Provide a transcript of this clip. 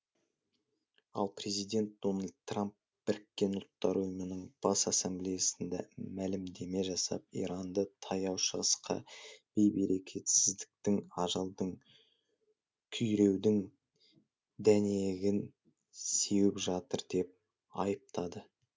ал президент дональд трамп біріккен ұлттар ұйымының бас ассамблеясында мәлімдеме жасап иранды таяу шығысқа бей берекетсіздіктің ажалдың күйреудің дәнегін сеуіп жатыр деп айыптады